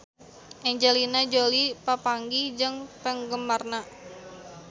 Angelina Jolie papanggih jeung penggemarna